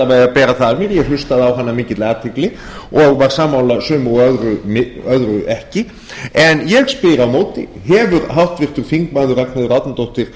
vega að bera það af mér ég hlustaði á hana af mikilli athygli og var sammála sumu en öðru ekki en ég spyr á móti hefur háttvirtur þingmaður ragnheiður árnadóttir